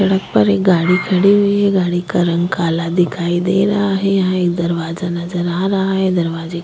सड़क पर एक गाड़ी खड़ी हुई है गाड़ी का रंग काला दिखाई दे रहा है यहाँ एक दरवाजा नजर आ रहा है दरवाजे के --